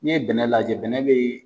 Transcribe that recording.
Ni ye bɛnɛn lajɛ bɛnɛ be .